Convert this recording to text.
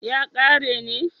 ya kare ne